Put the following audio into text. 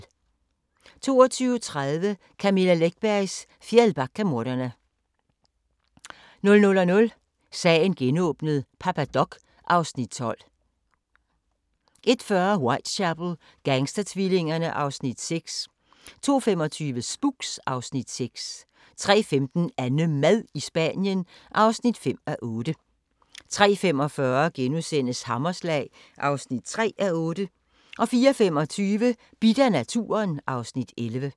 22:30: Camilla Läckbergs Fjällbackamordene 00:00: Sagen genåbnet: Papa Doc (Afs. 12) 01:40: Whitechapel: Gangstertvillingerne (Afs. 6) 02:25: Spooks (Afs. 6) 03:15: AnneMad i Spanien (5:8) 03:45: Hammerslag (3:8)* 04:25: Bidt af naturen (Afs. 11)